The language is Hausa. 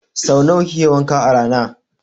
Sau nawa kike wanka a rana?